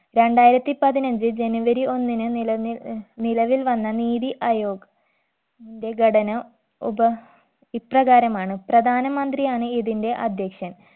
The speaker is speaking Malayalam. രണ്ടായിരത്തി പതിനഞ്ച്‌ ജനുവരി ഒന്നിന് നിലന്നിൽ നിലവിൽ വന്ന നീതി അയോഗ് ന്റെ ഘടന ഉപ ഇപ്രകാരമാണ് പ്രധാന മന്ത്രിയാണ് ഇതിന്റെ അധ്യക്ഷൻ